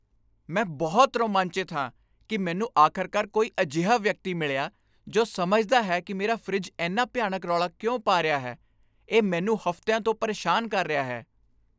ਮੈਂ ਬਹੁਤ ਰੋਮਾਂਚਿਤ ਹਾਂ ਕਿ ਮੈਨੂੰ ਆਖ਼ਰਕਾਰ ਕੋਈ ਅਜਿਹਾ ਵਿਅਕਤੀ ਮਿਲਿਆ ਜੋ ਸਮਝਦਾ ਹੈ ਕਿ ਮੇਰਾ ਫਰਿੱਜ ਇੰਨਾ ਭਿਆਨਕ ਰੌਲਾ ਕਿਉਂ ਪਾ ਰਿਹਾ ਹੈ ਇਹ ਮੈਨੂੰ ਹਫ਼ਤਿਆਂ ਤੋਂ ਪਰੇਸ਼ਾਨ ਕਰ ਰਿਹਾ ਹੈ!